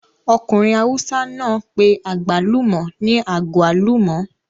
Ọkùnrin awùsá náà pé àgbálùmọ̀ ní agwaluma